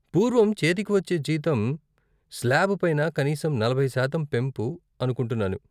పూర్వం చేతికి వచ్చే జీతం స్లాబ్ పైన కనీసం నలభై శాతం పెంపు అనుకుంటున్నాను.